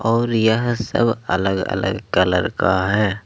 और यह सब अलग अलग कलर का है।